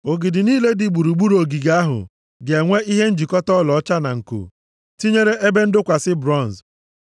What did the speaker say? Ogidi niile dị gburugburu ogige ahụ ga-enwe ihe njikọta ọlaọcha na nko, tinyere ebe ndọkwasị bronz.